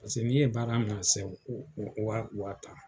Paseke ni e ye baara mina sen ko ko wa tan.